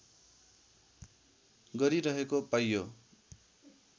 गरिरहेको पाइयो